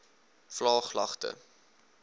vlaaglagte